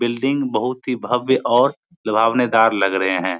Building बहुत ही भव्य और लुभावनेदार लग रहें हैं।